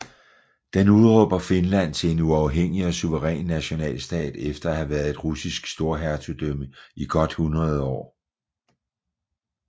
Den udråber Finland til en uafhængig og suveræn nationalstat efter at have været et russisk storhertugdømme i godt hundrede år